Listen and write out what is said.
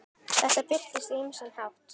Þetta birtist á ýmsan hátt.